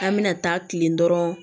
An bɛna taa kilen dɔrɔnw